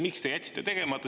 Miks te jätsite selle tegemata?